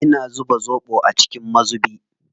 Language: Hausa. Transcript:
Ina zuba zoɓo a cikin mazubi.